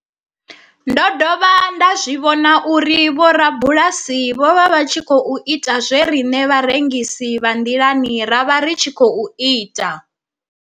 Ndo dovha nda zwi vhona uri vhorabulasi vho vha vha tshi khou ita zwe riṋe vharengisi vha nḓilani ra vha ri tshi khou ita.